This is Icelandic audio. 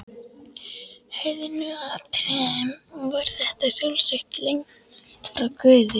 heiðnu atriðum var þetta sjálfsagt lengst frá guði.